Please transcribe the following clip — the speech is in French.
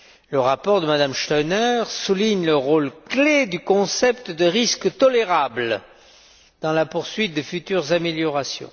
Le rapport de M me Stauner souligne le rôle clé du concept de risque tolérable dans la poursuite des futures améliorations.